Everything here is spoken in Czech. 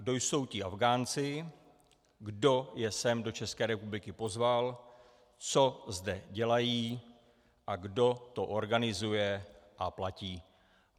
Kdo jsou ti Afghánci, kdo je sem do České republiky pozval, co zde dělají a kdo to organizuje a platí.